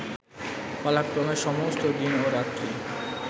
পালাক্রমে সমস্ত দিন ও রাত্রি